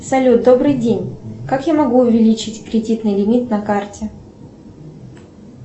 салют добрый день как я могу увеличить кредитный лимит на карте